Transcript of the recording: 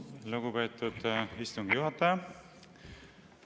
Lugupeetud istungi juhataja!